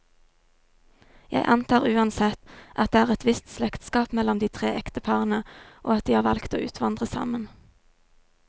Jeg antar uansett, at det er et visst slektskap mellom de tre ekteparene, og at de har valgt å utvandre sammen.